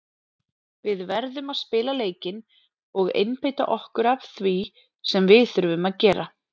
Við verðum að spila leikinn og einbeita okkur að því sem við þurfum að gera.